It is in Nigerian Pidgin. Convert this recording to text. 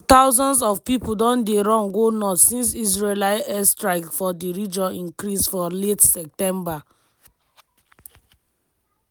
ten s of thousands of pipo don dey run go north since israeli airstrikes for di region increase for late september.